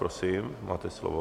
Prosím, máte slovo.